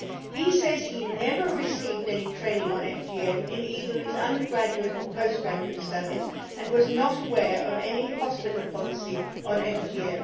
He says he never received any training on FGM in either his undergraduate or postgraduate studies and was not aware of any hospital policy on FGM.